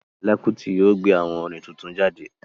Fẹla Kuti yóò gbé awó orin tuntun jáde